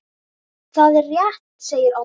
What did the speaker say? Það er rétt segir Oddur.